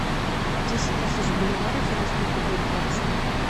десять тысяч боливаров это сколько будет в баксах